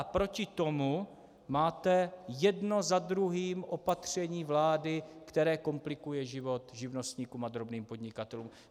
A proti tomu máte jedno za druhým opatření vlády, které komplikuje život živnostníkům a drobným podnikatelům.